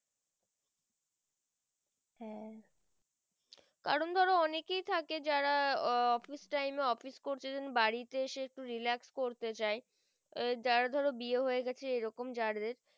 কারণ ধরো অনেক কেই থাকে যারা আহ office timeoffice করতে দেন বাড়িতে এসে একটু relax করতে চাই যারা ধরো বিয়ে হয়ে গিয়েছে এরকম যাদের